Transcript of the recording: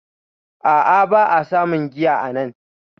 A a, ba a samun giya anan